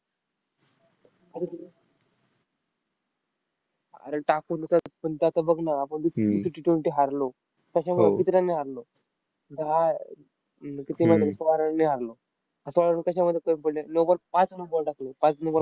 अरे टाकून देतात. पण ते आता बघ ना, आपण ती Ttwenty हरलो. कशामुळे किती run ने हरलो? दहा अह सोळा run ने हरलो. सोळा run कशामुळे कमी पडले? no ball पाच no ball टाकले. पाच no ball